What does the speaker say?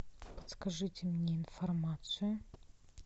подскажите мне информацию